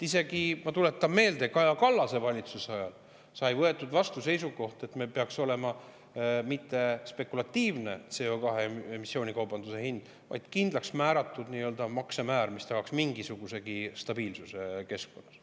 Isegi, ma tuletan meelde, Kaja Kallase valitsuse ajal sai vastu võetud seisukoht, et meil ei peaks olema spekulatiivne CO2 emissiooni kaubanduse hind, vaid kindlaks määratud maksemäär, mis tagaks mingisugusegi stabiilsuse keskkonnas.